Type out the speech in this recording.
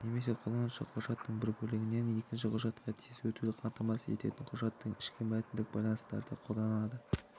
немесе қолданушыға құжаттың бір бөлігінен екінші құжатқа тез өтуді қамтамасыз ететін құжаттың ішкі мәтіндік байланыстарды қолданады